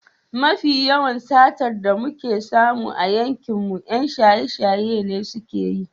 Mafi yawan satar da muke samu a yankinmu 'yan shaye-shaye ne suke yi.